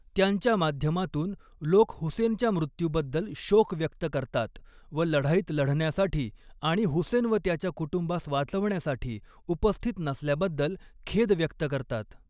त्यांच्या माध्यमातून, लोक हुसेनच्या मृत्यूबद्दल शोक व्यक्त करतात व लढाईत लढण्यासाठी आणि हुसेन व त्याच्या कुटुंबास वाचवण्यासाठी उपस्थित नसल्याबद्दल खेद व्यक्त करतात.